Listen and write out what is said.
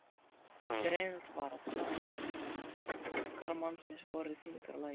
Greinilegt var að þankar mannsins voru í þyngra lagi.